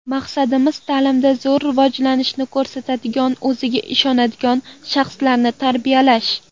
Maqsadimiz ta’limda zo‘r rivojlanishni ko‘rsatadigan, o‘ziga ishonadigan shaxslarni tarbiyalash.